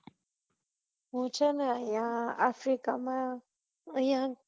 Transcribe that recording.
હું છે ને અયીયા africa માં અયીયા